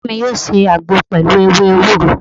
Baba mi yọ ṣe àgbo pẹlu ewé ewúro